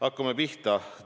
Hakkame pihta.